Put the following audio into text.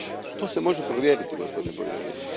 To se može provjeriti, gospodine povjereniče.